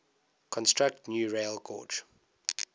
construct new railgauge